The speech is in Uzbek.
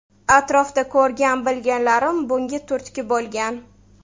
Atrofda ko‘rgan-bilganlarim bunga turtki bo‘lgan.